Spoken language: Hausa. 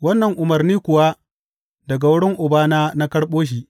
Wannan umarni kuwa daga wurin Ubana na karɓo shi.